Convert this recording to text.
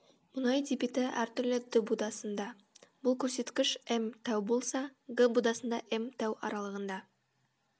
мұнай дебиті әр түрлі д будасында бұл көрсеткіш м тәу болса г будасында м тәу аралығында